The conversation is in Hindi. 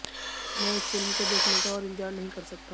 मैं इस फिल्म को देखने का और इंतजार नहीं कर सकता